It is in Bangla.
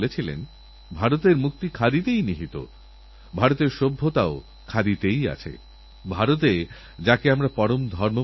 আসুন আমরা সবাই আগামীদিনগুলিতে একএকজন খেলোয়োড়কে যতটা গৌরবান্বিত করা সম্ভব তাঁদের প্রচেষ্টাকেপুরস্কৃত করা সম্ভব করি